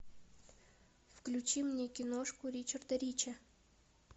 включи мне киношку ричарда рича